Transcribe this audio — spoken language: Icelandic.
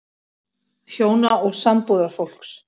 HJÓNA OG SAMBÚÐARFÓLKS